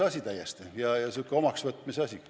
Harjumuse asi, omaksvõtmise asi.